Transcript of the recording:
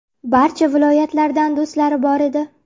Barcha viloyatlardan do‘stlari bor edi.